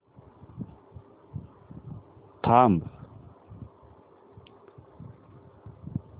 थांब